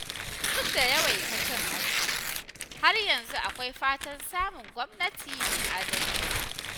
Duk da yawaitar cin hanci, har yanzu akwai fatan samun gwamnati mai adalci.